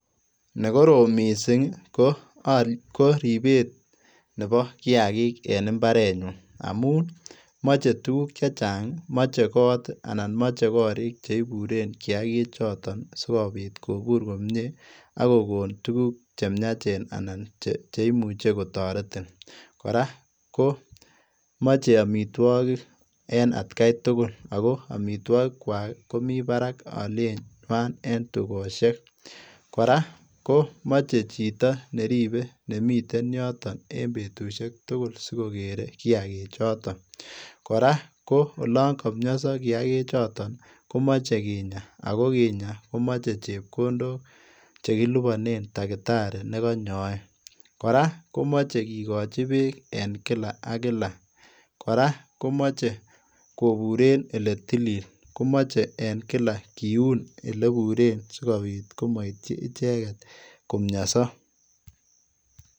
Nekorom missing ko ribet nebo kiakik en imbarenyun amun moche tukuk chechang, moche kot anan moche korik cheiburen kiakichoton sikobit Kibur komie akokon tukuk chemiachen anan cheimuche kotoretin, kora komoche amitwokik en atkai tugul ako amitwokikwak komii barak alienywan en tukoshek, kora komoche chito neribe nemiten yoton en betushek tugul sikokere kiakichoton, kora ko olonkomioso kikakichoton komoche kinyaa akokinya komoche chepkondok chekilibonen dakitari nekonyoe, kora komoje kikochi beek en kila ak kilak, kora komoche koburen eletilil komoche en kilak kiun eleburen sikobit komoityi icheket komioso.